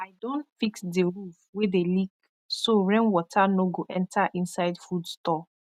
i don fix di roof wey dey leak so rain water no go enter inside food store